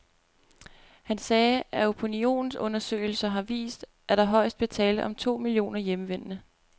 Han sagde, at opinionsundersøgelser har vist, at der højst bliver tale om to millioner hjemvendende.